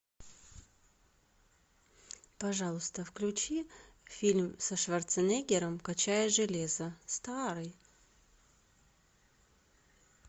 пожалуйста включи фильм со шварценеггером качая железо старый